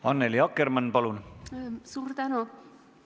Annely Akkermann, palun!